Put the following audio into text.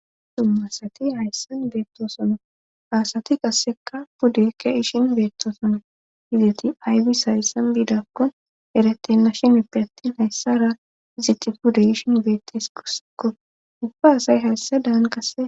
Summasati hayssan beettosono aasati qasseka puddekke ishin beettosono hizeti aybi sayssan biidakkon eretena shinipe attin hayssara iziti pude ishin beettes gursekko ufa asay hayssa daan qasse